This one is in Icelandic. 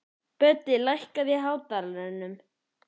Böddi, lækkaðu í hátalaranum.